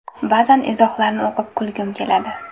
Ba’zan izohlarni o‘qib, kulgim keladi.